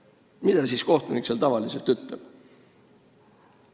" Ja mida kohtunik seal tavaliselt ütleb?